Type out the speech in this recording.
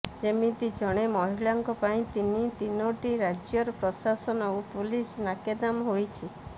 ଯେମିତି ଜଣେ ମହିଳାଙ୍କ ପାଇଁ ତିନି ତିନୋଟି ରାଜ୍ୟର ପ୍ରଶାସନ ଓ ପୋଲିସ ନାକେଦମ ହୋଇଛି